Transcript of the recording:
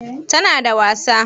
Tana da wasa?